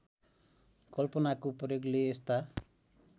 कल्पनाको प्रयोगले यस्ता